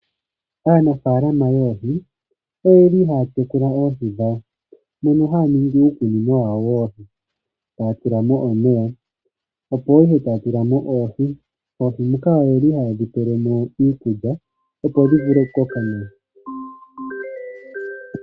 Aanafalama yoohi oye li haya tekula oohi dhawo, mono haya ningi uukunino wawo woohi, taya tulamo omeya, opo ihe taya tulamo oohi. Oohi muka oye li haye dhi pelemo iikulya opo dhi vule okukoka nawa.